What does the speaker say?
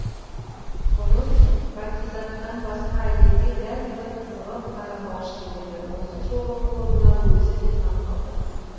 бұрын бәкизаттан басқа әйелге дәл бұлай қызығып қарамаушы еді осы жолғы қылығына өзі де таң қалды